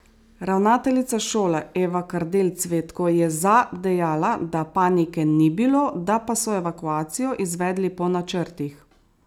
Ravnateljica šole Eva Kardelj Cvetko je za dejala, da panike ni bilo, da pa so evakuacijo izvedli po načrtih.